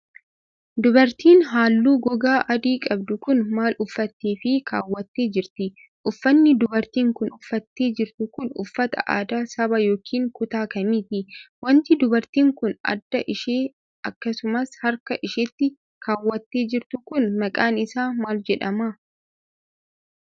Dubartiin haalluu gogaa adii qabdu kun, maal uffattee fi kaawwattee jirti? Uffanni dubartiin kun uffattee jirtu kun uffata aadaa saba yokin kutaa kamiiti? Wanti dubartiin kun adda ishee akkasumas harka isheetti kaawwattee jirtu kun maqaan isaa maal jedhama?